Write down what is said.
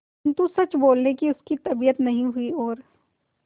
किंतु सच बोलने की उसकी तबीयत नहीं हुई और